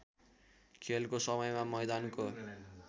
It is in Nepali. खेलको समयमा मैदानको